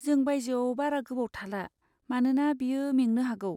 जों बायजोआव बारा गोबाव थाला मानोना बियो मेंनो हागौ।